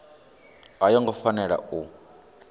a yo ngo fanela u